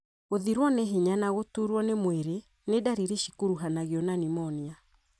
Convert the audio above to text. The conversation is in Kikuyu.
Gũthirwo nĩ hinya na gũturwo nĩ mwĩrĩ nĩ ndariri cikuruhanagio na pneumonia.